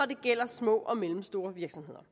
det gælder små og mellemstore virksomheder